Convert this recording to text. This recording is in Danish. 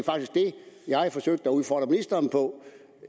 jeg forsøgte at udfordre ministeren på